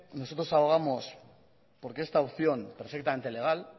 nosotros abogamos porque esta opción perfectamente legal